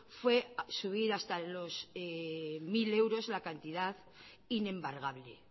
fue subir hasta los mil euros la cantidad inembargable